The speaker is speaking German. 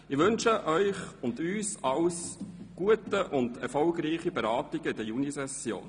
Ich wünsche Ihnen und uns alles Gute und erfolgreiche Beratungen in der Junisession.